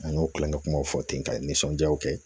An y'o kilanŋɛ kumaw fɔ ten ka nisɔndiyaw kɛ